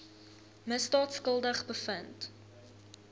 misdaad skuldig bevind